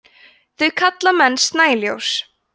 þau kalla menn snæljós